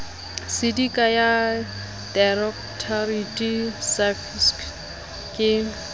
sedika ya directorate saafqis ke